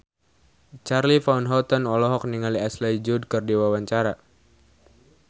Charly Van Houten olohok ningali Ashley Judd keur diwawancara